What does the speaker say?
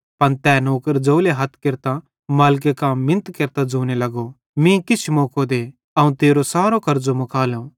पन तै नौकर ज़ोवले हथ केरतां मालिके कां मिनत केरतां ज़ोने लगो मीं किछ मौको दे ते अवं तेरो सारो कर्ज़ो मुकालो